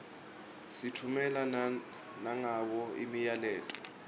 sitffumela nangabo imiyaleto